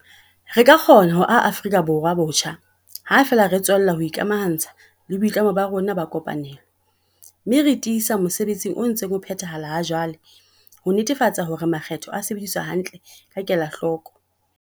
Re ka kgona ho aha Afrika Borwa botjha ha feela re tswella ho ikamaha ntsha le boitlamo ba rona ka kopanelo, mme re tiisa mosebetsi o ntseng o phethahala ha jwale ho netefatsa hore makgetho a sebediswa hantle ka kela hloko.